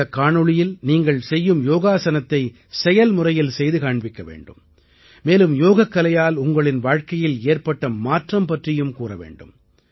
இந்தக் காணொளியில் நீங்கள் செய்யும் யோகாஸனத்தின் செயல்முறையில் செய்து காண்பிக்க வேண்டும் மேலும் யோகக்கலையால் உங்களின் வாழ்க்கையில் ஏற்பட்ட மாற்றம் பற்றியும் கூற வேண்டும்